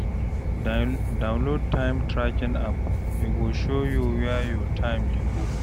Download time tracking app, e go show you where your time dey go.